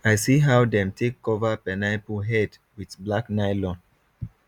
i see how dem take cover pineapple head with black nylon